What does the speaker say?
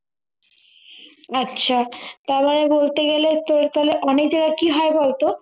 আচ্ছা তাহলে বলতে গেলে তোর তাহলে অনেকে কি হয় বলতো